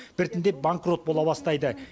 біртіндеп банкрот бола бастайды